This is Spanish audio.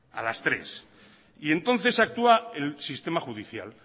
a las tres y entonces actúa el sistema judicial